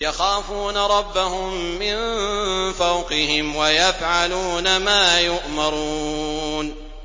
يَخَافُونَ رَبَّهُم مِّن فَوْقِهِمْ وَيَفْعَلُونَ مَا يُؤْمَرُونَ ۩